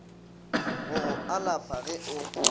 go go alafa ge o